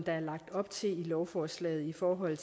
er lagt op til i lovforslaget i forhold